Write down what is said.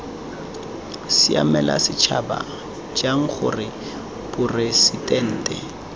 siamela setšhaba jang gore poresitente